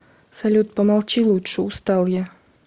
салют помолчи лучше устал я